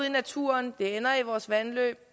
i naturen det ender i vores vandløb